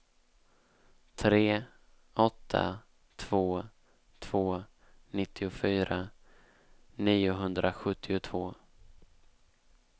tre åtta två två nittiofyra niohundrasjuttiotvå